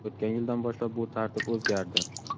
O‘tgan yildan boshlab bu tartib o‘zgardi.